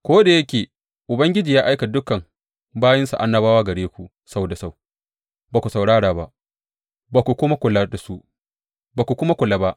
Ko da yake Ubangiji ya aika dukan bayinsa annabawa gare ku sau da sau, ba ku saurara ba, ba ku kuma kula ba.